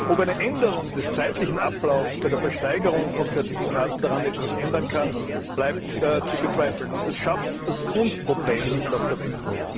Ob eine Änderung des zeitlichen Ablaufs bei der Versteigerung von Zertifikaten daran etwas ändern kann, bleibt zu bezweifeln, und es schafft das Grundproblem nicht aus der Welt.